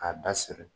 K'a da siri